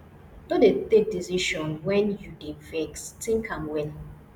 no dey take decision wen you dey vex tink am well